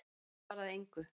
Ég svaraði engu.